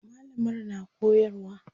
mallamar na koyarwa